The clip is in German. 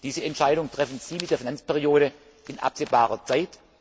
Diese Entscheidung treffen Sie mit der Finanzperiode in absehbarer